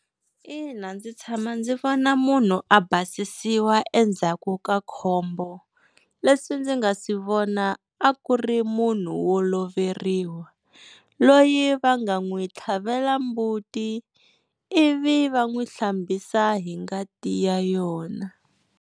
Ina ndzi tshama ndzi vona munhu a basisiwa endzhaku ka khombo, leswi ndzi nga swi vona a ku ri munhu wo loveriwa loyi va nga n'wi tlhavela mbuti ivi va n'wi hlambisa hi ngati ya yona.